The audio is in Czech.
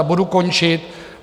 A budu končit.